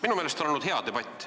Minu meelest on olnud hea debatt.